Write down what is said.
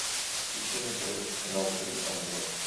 ищи на тв телеканал три ангела